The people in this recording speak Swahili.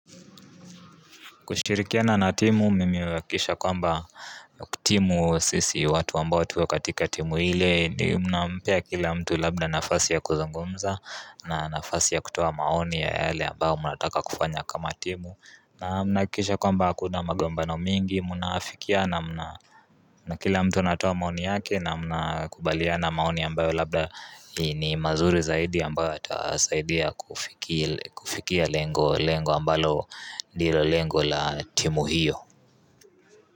Kushirikia na na timu mimiwe kisha kwamba timu sisi watu ambao tuwe katika timu hile Muna mpea kila mtu labda nafasi ya kuzungumza na nafasi ya kutowa maoni ya hale ambao muna taka kufanya kama timu na muna kisha kwamba akuna magombano mingi Muna fikia na muna kila mtu natowa maoni yake na muna kubalia na maoni ambao labda ni mazuri zaidi ambao atasaidia kufikia lengo lengo ambalo nilo lengo la timu hio.